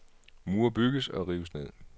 Mure bygges og rives ned.